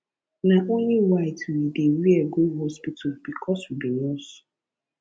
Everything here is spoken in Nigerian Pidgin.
nah only white we dey wear go hospital because we be nurse